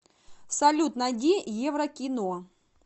салют найди еврокино